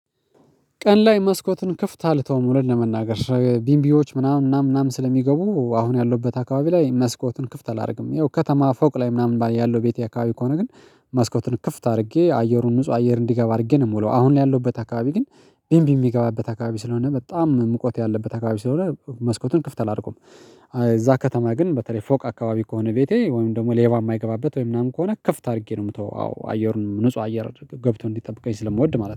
ቀን ላይ መስኮትን ክፍት አልተውም እውነት ለመናገር ቢምቢዎች ምናምን ምናምን ምናምን ስለሚገቡ አሁን ያለሁበት አካባቢ ላይ መስኮቱን ክፍት አላደርግም ያው ከተማ ፎቅ ላይ ምናምን ያለው ቤቴ አካባቢ ከሆነ ግን መስኮቱን ክፍት አድርጌ አየሩን ንጹህ አየር እንዲገባ አድርጌ ነው የምውለው አሁን ያለሁበት አካባቢ ግን ቢምቢ ሚገባበት አካባቢ ስለሆነ በጣም ሙቀት ያለበት አካባቢ ስለሆነ መስኮቱን ክፍት አላረገውም። እዛ ከተማ ግን በተለይ ፎቅ አካባቢ ከሆነ ቤቴ ወይም ደግሞ ሌባ የማይገባበት ወይ ምናምን ከሆነ ከፍት አድርጌ ነው የምተወው አዎ አየሩን ንጹህ አየር ገብቶ እንዲጠብቀኝ ስለምወድ ማለት ነው